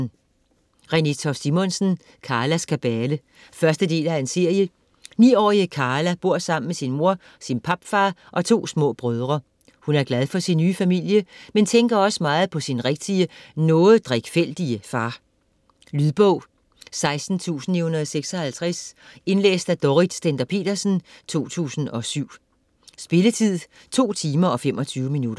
Toft Simonsen, Renée: Karlas kabale 1. del af serie. 9-årige Karla bor sammen med sin mor, sin papfar og to små brødre. Hun er glad for sin nye familie, men tænker også meget på sin rigtige, noget drikfældige far. Lydbog 16956 Indlæst af Dorrit Stender-Petersen, 2007. Spilletid: 2 timer, 25 minutter.